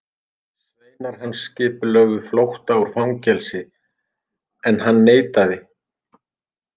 Sveinar hans skipulögðu flótta úr fangelsi, en hann neitaði.